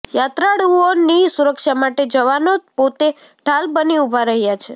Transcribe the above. યાત્રાળુઓની સુરક્ષા માટે જવાનો પોતે ઢાલ બની ઉભા રહયા છે